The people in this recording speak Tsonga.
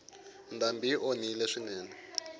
ndhambi yi onhile swinene